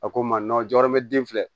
A ko n ma jɔyɔrɔ be den filɛ